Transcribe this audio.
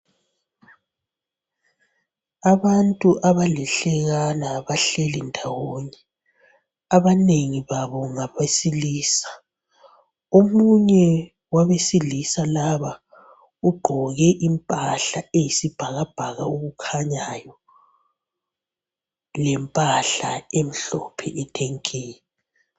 Abantu abalihlekana bahleli ndawonye, abanengi babo ngabesilisa omunye wabesilisa laba ugqoke impahla eyisibhakabhaka okukhanyayo, lempahla emhlophe ethe nke.